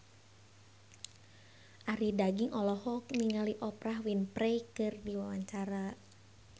Arie Daginks olohok ningali Oprah Winfrey keur diwawancara